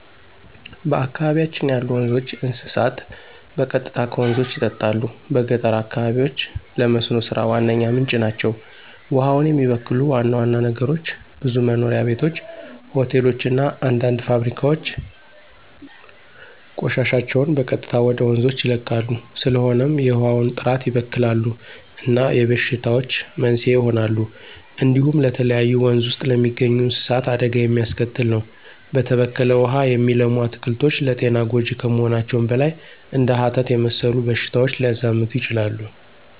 በአካባቢያችን ያሉ ወንዞች፣ እንስሳት በቀጥታ ከወንዞች ይጠጣሉ። በገጠር አካባቢዎች ለመስኖ ሥራ ዋነኛ ምንጭ ናቸው። ውሃውን የሚበክሉ ዋና ዋና ነገሮች ብዙ መኖሪያ ቤቶች፣ ሆቴሎች እና አንዳንድ ፋብሪካዎች ቆሻሻቸውን በቀጥታ ወደ ወንዞች ይለቃሉ። ስለሆነም የውሃውን ጥራት ይበክላሉ እና የበሽታዎች መንስኤ ይሆናሉ። እንዲሁም ለተለያዩ ወንዝ ውስጥ ለሚገኙ እንስሳት አደጋ የሚያስከትል ነው። በተበከለ ውሃ የሚለሙ አትክልቶች ለጤና ጎጅ ከመሆናቸውም በላይ እንደ ሀተት የመሰሉ በሽታዎች ሊያዛምቱ ይችላሉ።